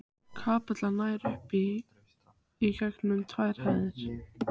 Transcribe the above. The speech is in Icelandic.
Settu spínatið á stórt fat, síðan seturðu ávextina yfir.